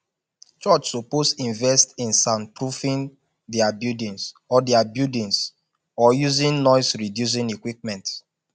church suppose invest in soundproofing dia buildings or dia buildings or using noisereducing equipment